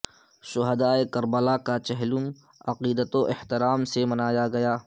شہدائے Karbala کا چہلم عقیدت و احترام سے منایا گیا